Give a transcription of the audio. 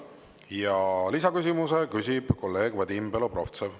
Ja lisaküsimuse küsib kolleeg Vadim Belobrovtsev.